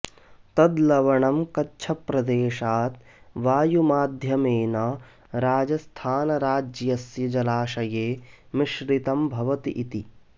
तद् लवणं कच्छप्रदेशात् वायुमाध्यमेन राजस्थानराज्यस्य जलाशये मिश्रितं भवति इति